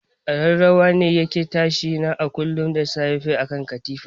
Kararrawa ne yake tashi na kullun da safe akan katifa.